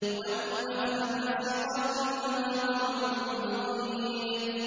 وَالنَّخْلَ بَاسِقَاتٍ لَّهَا طَلْعٌ نَّضِيدٌ